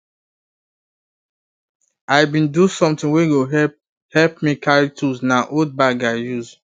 i bin do something wey go help help me carry tools na old bag i use